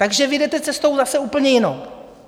Takže vy jdete cestou zase úplně jinou.